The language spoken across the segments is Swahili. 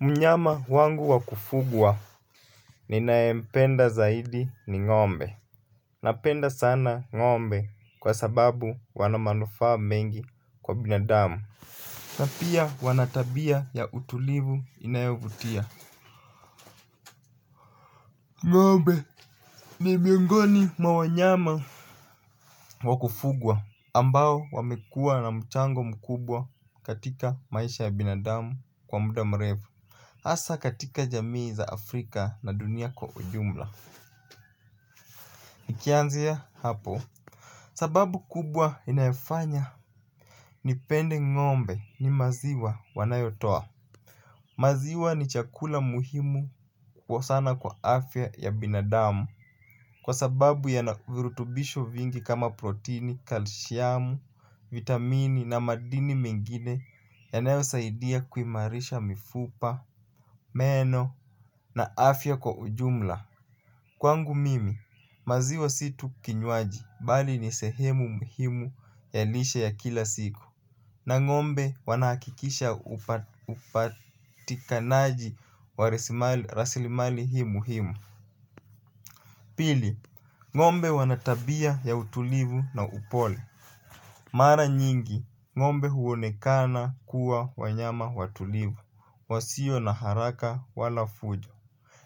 Mnyama wangu wa kufugwa ninayempenda zaidi ni ngombe. Napenda sana ngombe kwa sababu wana manufaa mengi kwa binadamu. Na pia wana tabia ya utulivu inayovutia. Ngombe ni miongoni mwa wanyama wa kufugwa ambao wamekua na mchango mkubwa katika maisha ya binadamu kwa muda mrefu hasa katika jamii za afrika na dunia kwa ujumla. Nikianzia hapo sababu kubwa inayofanya nipende ngombe ni maziwa wanayotoa. Maziwa ni chakula muhimu kwa sana kwa afya ya binadamu. Kwa sababu yana virutubisho vingi kama protini, kalishiamu, vitamini na madini mengine yanayosaidia kuimarisha mifupa, meno na afya kwa ujumla. Kwangu mimi, maziwa si tu kinywaji, bali ni sehemu muhimu ya lishe ya kila siku. Na ngombe wanahakikisha upatikanaji wa raslimali hii muhimu. Pili, ngombe wanatabia ya utulivu na upole mara nyingi ngombe huonekana kuwa wanyama watulivu wasio na haraka au fujo.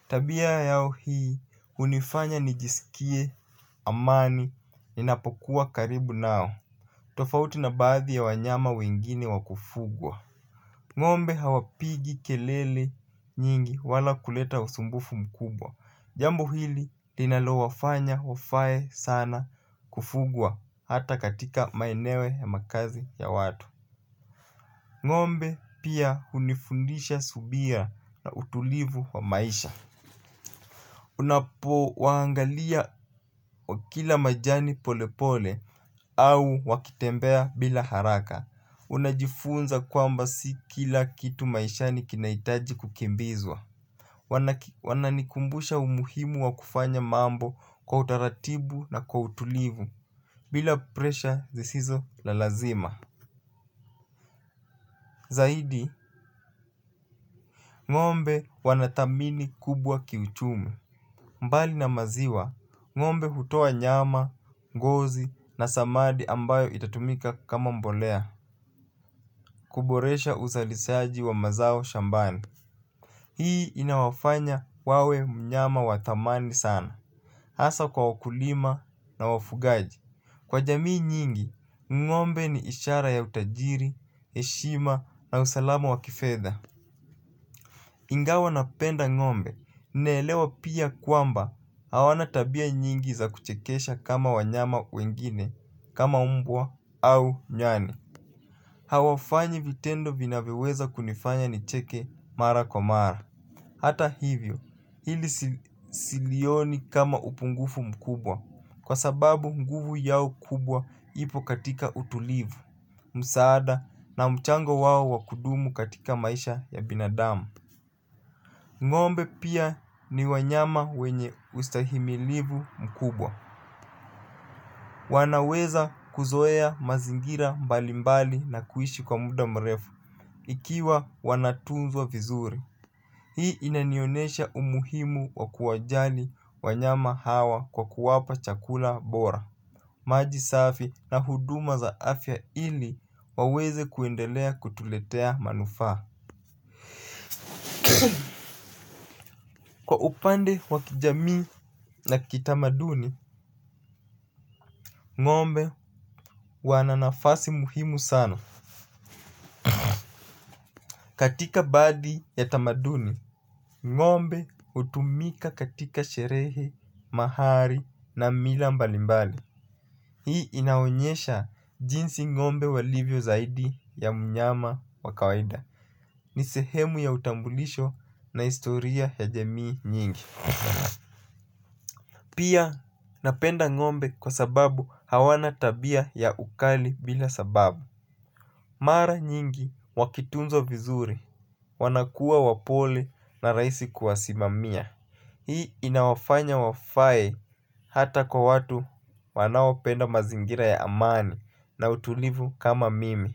Tabia yao hii hunifanya nijisikie amani ninapokuwa karibu nao. Tofauti na baadhi ya wanyama wengine wa kufugwa ngombe hawapigi kelele nyingi wala kuleta usumbufu mkubwa. Jambo hili linalowafanya wafae sana kufugwa hata katika maeneo ya makazi ya watu. Ngombe pia hunifundisha subira na utulivu wa maisha. Unapowaangalia wakila majani polepole au wakitembea bila haraka. Unajifunza kwamba si kila kitu maishani kinahitaji kukimbizwa. Wananikumbusha umuhimu wa kufanya mambo kwa utaratibu na kwa utulivu bila presha zisizo na lazima. Zaidi, ngombe wanathamini kubwa kiuchumi bali na maziwa ngombe hutoa nyama ngozi na samadi ambayo itatumika kama mbolea kuboresha uzalishaji wa mazao shambani. Hii inawafanya wawe mnyama wa thamani sana hasa kwa wakulima na wafugaji. Kwa jamii nyingi, ngombe ni ishara ya utajiri, heshima na usalama wa kifedha. Ingawa napenda ngombe, naelewa pia kwamba hawana tabia nyingi za kuchekesha kama wanyama wengine, kama umbwa au nyani. Hawafanyi vitendo vinavyoweza kunifanya nicheke mara kwa mara. Hata hivyo, hili silioni kama upungufu mkubwa, kwa sababu nguvu yao kubwa ipo katika utulivu, msaada na mchango wao wa kudumu katika maisha ya binadamu. Ngombe pia ni wanyama wenye ustahimilivu mkubwa. Wanaweza kuzoea mazingira mbalimbali na kuishi kwa muda mrefu ikiwa wanatunzwa vizuri. Hii inanionesha umuhimu wa kuwajali wanyama hawa kwa kuwapa chakula bora maji safi na huduma za afya ili waweze kuendelea kutuletea manufaa. Kwa upande wa kijamii na kitamaduni ngombe wana nafasi muhimu sana katika baadhi ya tamaduni. Ngombe hutumika katika sherehe, mahari na mila mbalimbali. Hii inaonyesha jinsi ngombe walivyo zaidi ya mnyama wa kawaida. Ni sehemu ya utambulisho na historia ya jamii nyingi. Pia napenda ngombe kwa sababu hawana tabia ya ukali bila sababu mara nyingi wakitunzwa vizuri wanakua wapole na rahisi kuwasimamia hii inawanfanya wafae hata kwa wau wanaopenda mazingira ya amani na utulivu kama mimi.